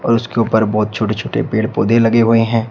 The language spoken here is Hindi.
और उसके ऊपर बहोत छोटे-छोटे पेड़ पौधे लगे हुए हैं।